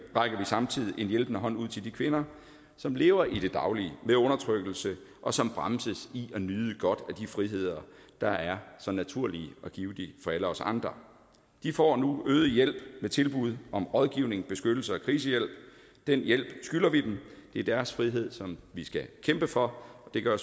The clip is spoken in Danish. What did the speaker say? rækker vi samtidig en hjælpende hånd ud til de kvinder som lever i det daglige med undertrykkelse og som bremses i at nyde godt af de friheder der er så naturlige og givtige for alle os andre de får nu øget hjælp med tilbud om rådgivning beskyttelse og krisehjælp den hjælp skylder vi dem det er deres frihed som vi skal kæmpe for og det gør